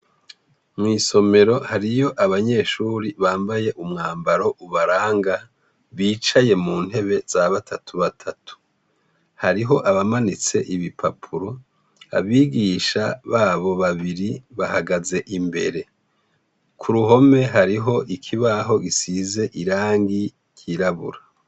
Mw'isomero hariyo abanyeshure bambaye umwambaro ubaranga bicaye muntebe zabatatubatatu. Hariho abamanitse ibipapuro; abigisha babo babiri bahagaze imbere. K'uruhome hariho ikibaho gisize irangi ryirabura.